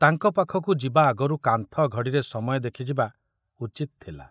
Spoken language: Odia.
ତାଙ୍କ ପାଖକୁ ଯିବା ଆଗରୁ କାନ୍ଥ ଘଡ଼ିରେ ସମୟ ଦେଖିଯିବା ଉଚିତ୍ ଥିଲା।